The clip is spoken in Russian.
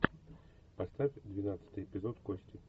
поставь двенадцатый эпизод кости